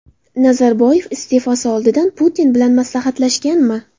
Nazarboyev iste’fosi oldidan Putin bilan maslahatlashganmi?